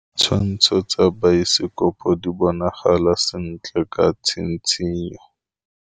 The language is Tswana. Ditshwantshô tsa biosekopo di bonagala sentle ka tshitshinyô.